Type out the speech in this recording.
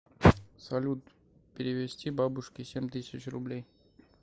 салют перевести бабушке семь тысяч рублей